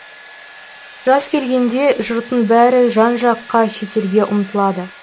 жаз келгенде жұрттың бәрі жан жаққа шетелге ұмтылады